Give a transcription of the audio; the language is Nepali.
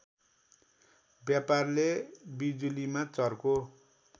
व्यापारले बिजुलीमा चर्को